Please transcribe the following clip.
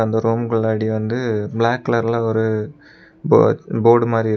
அந்த ரூம்குலடி வந்து பிளாக் கலர்ல ஒரு போ போர்டு மாரி இரு.